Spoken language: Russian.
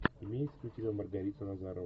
имеется ли у тебя маргарита назарова